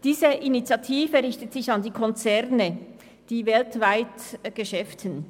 Diese Initiative richtet sich an die Konzerne, die weltweit Geschäfte tätigen.